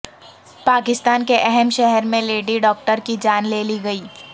پاکستان کے اہم شہر میں لیڈی ڈاکٹر کی جان لے لی گئی